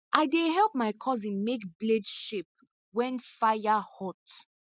i dey help my cousin make blade shape wen fire hot